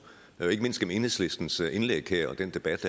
og ikke mindst gennem enhedslistens indlæg her og den debat